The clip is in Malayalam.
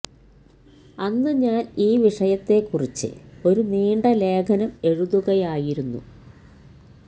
അന്ന് ഞാൻ ഈ വിഷയത്തേക്കുറിച്ച് ഒരു നീണ്ട ലേഖനം എഴുതുകയായിരുന്നു